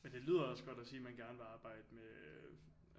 Men det lyder også godt at sige at man gerne vil arbejde med